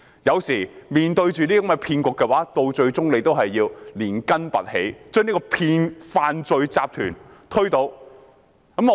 有時候面對這些騙局，最終政府仍要連根拔起，將這個犯罪集團推倒。